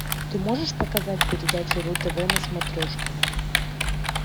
ты можешь показать передачу ру тв на смотрешке